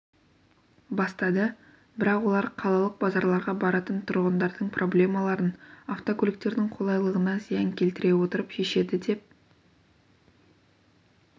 бастады бірақ олар қалалық базарларға баратын тұрғындардың проблемаларын автокөліктердің қолайлығына зиян келтіре отырып шешеді деп